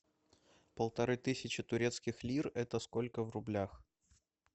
полторы тысячи турецких лир это сколько в рублях